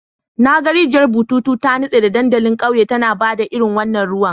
Na ga rijiyar bututu ta nutse a dandalin ƙauyen tana ba da irin wannan ruwan.